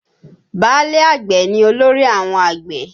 Báálẹ̀ àgbẹ̀ ni olórí àwọn àgbẹ̀